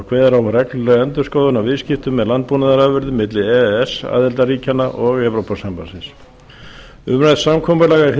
kveður á um reglulega endurskoðun á viðskiptum með landbúnaðarafurðir milli e e s aðildarríkjanna og evrópusambandsins umrætt samkomulag er hið